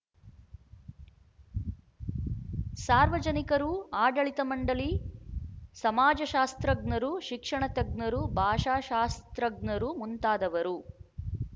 ಸಾರ್ವಜನಿಕರು ಆಡಳಿತ ಮಂಡಳಿ ಸಮಾಜಶಾಸ್ತ್ರಜ್ಞರು ಶಿಕ್ಷಣತಜ್ಞರು ಭಾಷಾಶಾಸ್ತ್ರಜ್ಞರು ಮುಂತಾದವರು